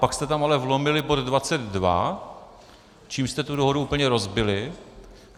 Pak jste tam ale vlomili bod 22, čímž jste tu dohodu úplně rozbili.